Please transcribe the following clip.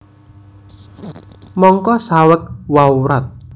Mangka saweg wawrat